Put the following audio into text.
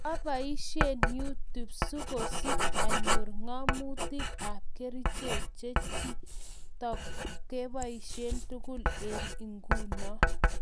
Koapaisie YouTube sokosich anyor ng'amotik ap kericheek chechitok kepaisie tugul eng inguno